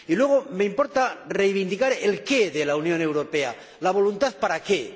Y luego me importa reivindicar el qué de la Unión Europea, la voluntad ¿para qué?